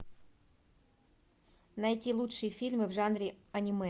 найти лучшие фильмы в жанре аниме